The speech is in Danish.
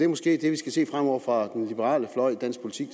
måske skal se fremover fra den liberale fløj i dansk politik